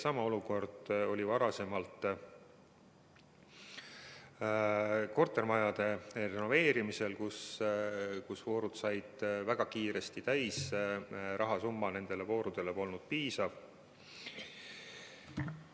Sama olukord oli varem ka kortermajade renoveerimisel, kui voorud said väga kiiresti täis, rahasumma nende voorude katmiseks polnud piisav.